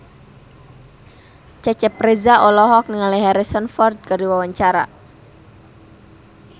Cecep Reza olohok ningali Harrison Ford keur diwawancara